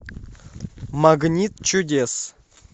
магнит чудес